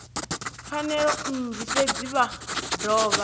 pfanelo nnzhi fhedzi vha dovha